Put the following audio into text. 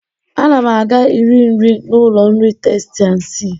Ana m aga iri nri n'ụlọ nri Testi an sii.